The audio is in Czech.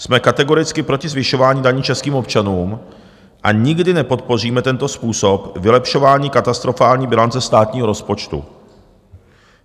Jsme kategoricky proti zvyšování daní českým občanům a nikdy nepodpoříme tento způsob vylepšování katastrofální bilance státního rozpočtu.